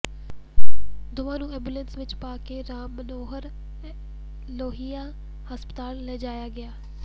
ਦੋਵਾਂ ਨੂੰ ਐਂਬੂਲੈਂਸ ਵਿੱਚ ਪਾ ਕੇ ਰਾਮ ਮਨੋਹਰ ਲੋਹੀਆ ਹਸਪਤਾਲ ਲਿਜਾਇਆ ਗਿਆ